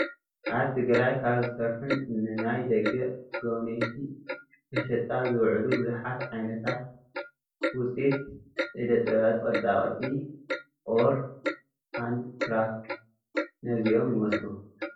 ኣብ ትግራይ ካብ ዝስርሑን ንናይ ደገ ጎብነይቲ መሸጣ ዝውዕሉ ብዙሓት ዓይነታት ውፅኢት ኢደ ጥበባት ቅርፃ ቅርፂ (Hand crafts )ነዚኦም ይመስሉ፡፡